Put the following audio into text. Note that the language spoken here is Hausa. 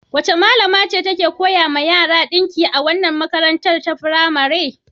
Wace malama ce take koya wa yara ɗinki a wannan makarantar firamaren?